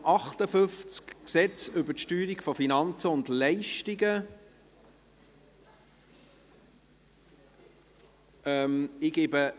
«Gesetz über die Steuerung von Finanzen und Leistungen (FLG)».